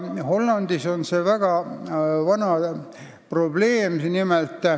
Hollandis on see väga vana korraldus.